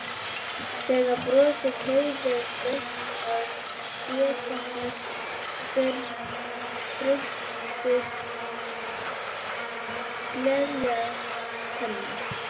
Þegar brosið teygðist upp að spékoppunum birtust gleiðar tennur.